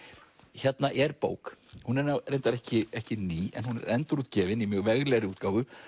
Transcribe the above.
hérna er bók reyndar ekki ekki ný en endurútgefin í mjög veglegri útgáfu